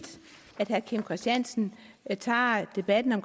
at herre kim christiansen tager debatten